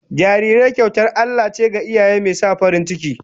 Jarirai kyautar Allah ce ga iyaye, mai sa farin ciki